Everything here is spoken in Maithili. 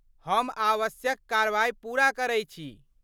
हम आवश्यक कार्रवाइ पूरा करै छी।